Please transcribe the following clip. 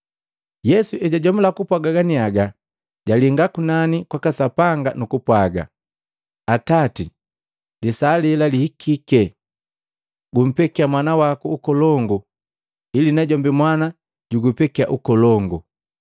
Yesu ejwajomula kupwaaga ganiaga, jalinga kunani kwaka Sapanga nukupwaaga, “Atati lisaa lela lihikike! Gumpekiya Mwana waku ukolongu ili najombi Mwana jugupekiya ukolongu.